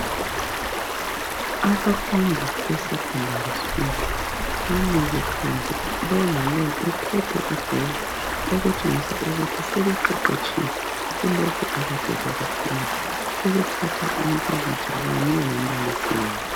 Abafundi besekhondari skul, bamile phandle. Lo lalo uphethe ibhuku okutshengisa ukuthi sebeqeqetshile kulokho akade bekufunda. Sebethatha umpikitsha kanye lombalisi wabo.